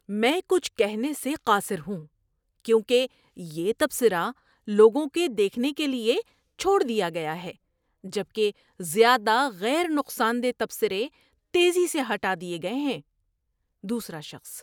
میں کچھ کہنے سے قاصر ہوں کیونکہ یہ تبصرہ لوگوں کے دیکھنے کے لیے چھوڑ دیا گیا ہے جبکہ زیادہ غیر نقصان دہ تبصرے تیزی سے ہٹا دیے گئے ہیں۔ (دوسرا شخص)